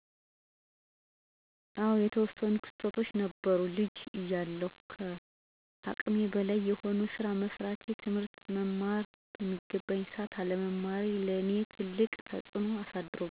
አወ የተወሰኑ ክስተቶች ነበሩ፦ ልጅ እያለሁ ከአቅሜ በላይ የሆነ ስራ መስራቴ፣ ትምህርት መማር በሚገባኝ ሰዓት አለመማሬ ለኔ ትልቅ ተፅዕኖ አሳድሮብኛል።